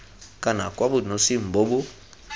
kana kwa bonosing bo bo